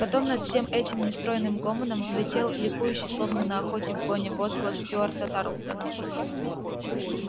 потом над всем этим нестройным гомоном взлетел ликующий словно на охоте в гоне возглас стюарта тарлтона